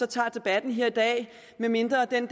tager debatten her i dag medmindre den